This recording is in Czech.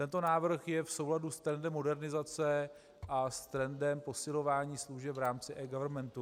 Tento návrh je v souladu s trendem modernizace a s trendem posilování služeb v rámci eGovernmentu.